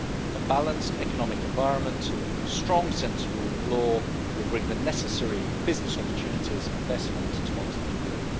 A balanced economic environment and strong sense of rule of law will bring the necessary business opportunities and investment to Montenegro.